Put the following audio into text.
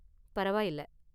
பரவாயில்ல.